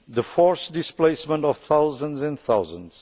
the forced displacement of thousands and thousands